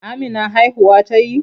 Amina haihuwa ta yi?